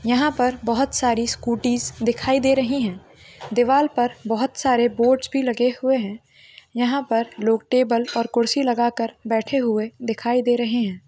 यहाँ पर बहोत सारी स्कूटीज दिखाई दे रही है दीवाल पर बहोत सारे बोर्ड्स भी लगे हुए है यहाँ पर लोग टेबल और कुर्सी लगा कर बैठें हुए दिखाई दे रहे है।